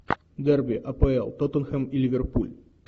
дерби апл тоттенхэм и ливерпуль